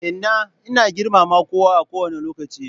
Inna ina girmama kowa a ko wanne lokaci.